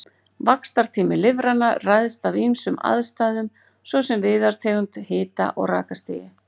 Vaxtartími lirfanna ræðst af ýmsum aðstæðum, svo sem viðartegund, hita- og rakastigi.